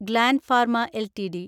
gland Pharma LTD